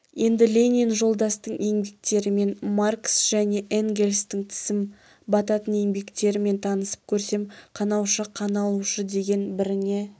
енді ленин жолдастың еңбектерімен маркс және энгельстің тісім бататын еңбектерімен танысып көрсем қанаушы қаналушы деген біріне